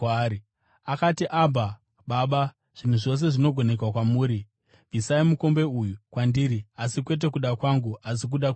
Akati, “Abha, Baba, zvinhu zvose zvinogoneka kwamuri. Bvisai mukombe uyu kwandiri. Asi kwete kuda kwangu, asi kuda kwenyu.”